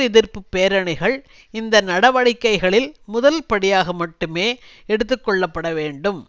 எதிர்ப்பு பேரணிகள் இந்த நடவடிக்கைகளில் முதல்படியாக மட்டுமே எடுத்து கொள்ள பட வேண்டும்